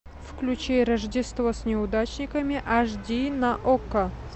включи рождество с неудачниками аш ди на окко